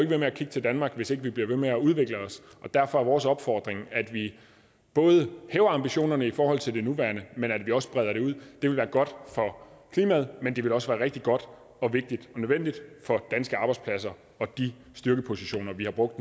ved med at kigge til danmark hvis ikke vi bliver ved med at udvikle os og derfor er vores opfordring at vi både hæver ambitionerne i forhold til det nuværende men at vi også breder det ud det ville være godt for klimaet men det ville også være rigtig godt vigtigt og nødvendigt for danske arbejdspladser og de styrkepositioner vi har brugt